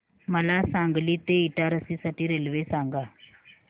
मला सांगली ते इटारसी साठी रेल्वे सांगा